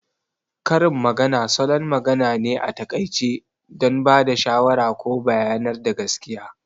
Karin magana salon magana ne a taƙaice don ba da shawara ko bayanar da gaskiya